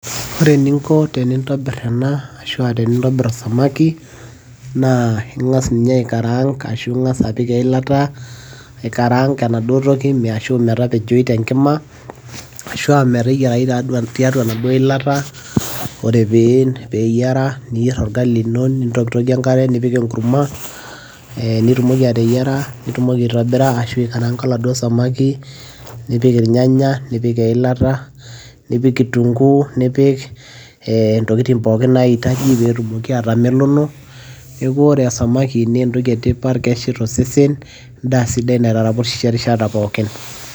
ore eninko tenintobir ena ashu aa tenintobir samaki ,naa ing'as ninye eikaraang' ashu aa ing'as apik eilata, aikaraang' enaduoo toki ashu metapejoyu tenkima, ashu aa meteyaiaryu tiatua enaduoo ilata, ore pee eyiara, niyier orgali lino, nitokitokie, enkare nipik enkurma, nitumoki ateyiara, nitumoki aitobira oladuoo samaki nipiki irnyanaya, nipik eilata, nipik kitunkuu, nipik intokitin pookin naitaji pee etumoki aatamelono. neeku ore samaki naa entoki e tipat keshet osesen, edaa sidai niataraposhisho enkata pookin.